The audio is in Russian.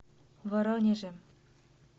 воронежем